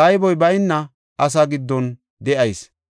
tayboy bayna asaa giddon de7ayis.